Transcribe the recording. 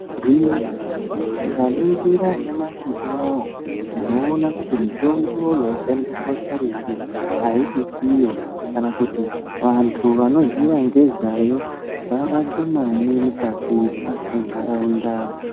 Gwinyiso tikaringira nyamashi uno tinoona kuti mitombo yaishandiswa karetu haisi yiyo kana kuti vantu anoziva ngezvayo vave ashomani mukati muntaraunda.